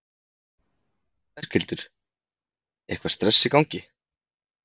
Berghildur: Eitthvað stress í gangi?